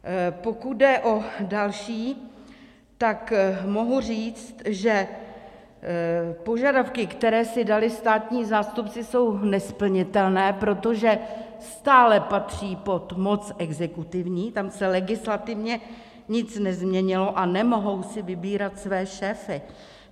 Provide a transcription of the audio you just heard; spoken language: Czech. Pokud jde o další, tak mohu říct, že požadavky, které si dali státní zástupci, jsou nesplnitelné, protože stále patří pod moc exekutivní, tam se legislativně nic nezměnilo, a nemohou si vybírat své šéfy.